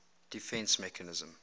defence mechanism